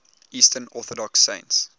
eastern orthodox saints